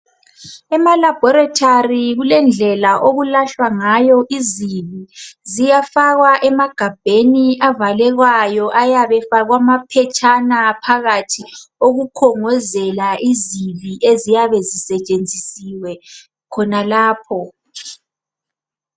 Emalabhorethari kulendlela okulahlwa ngayo izibi. Ziyafakwa emagabheni avalekwayo, ayabefakwa amaphetshana phakathi okukhongozela izibi eziyabe zisetshenzisiwe khonalapho.